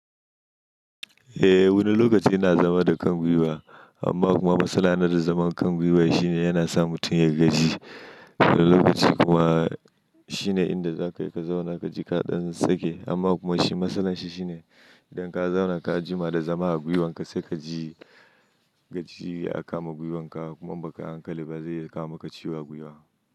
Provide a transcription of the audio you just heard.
Eh wani lokaci ina zama da kan gwiwa amma kuma matsala na da zaman kan gwiwa shine yana sa mutum ya gaji. Wani lokaci kuma shine inda za ka yi ka zauna ka ji kaɗan sake amma kuma shi matsalar shi shine idan ka zauna ka jima da zama a gwiwanka sai ka ji gajiya ya kama gwiwanka kuma in bakai hankali ba zai kama ka ciwo a gwiwa.